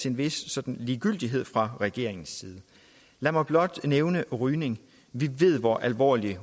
en vis ligegyldighed fra regeringens side lad mig blot nævne rygning vi ved hvor alvorligt